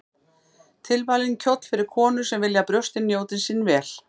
Tilvalinn kjóll fyrir konur sem vilja að brjóstin njóti sín vel.